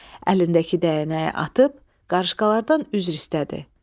Əlindəki dəyənəyi atıb, qarışqalardan üzr istədi.